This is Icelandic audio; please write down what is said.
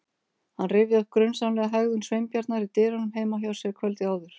Hann rifjaði upp grunsamlega hegðun Sveinbjarnar í dyrunum heima hjá sér kvöldið áður.